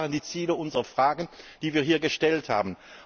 Das waren die Ziele unserer Fragen, die wir hier gestellt haben.